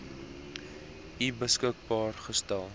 u beskikbaar gestel